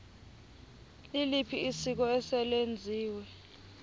liliphi isiko eselenziwe